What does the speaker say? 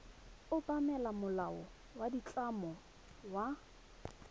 obamela molao wa ditlamo wa